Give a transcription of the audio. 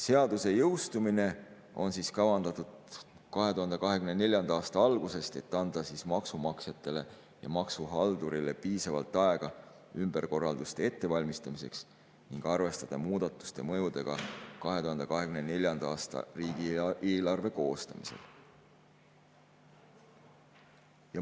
Seaduse jõustumine on kavandatud 2024. aasta algusesse, et anda maksumaksjatele ja maksuhaldurile piisavalt aega ümberkorralduste ettevalmistamiseks ning saaks arvestada muudatuste mõjudega 2024. aasta riigieelarve koostamisel.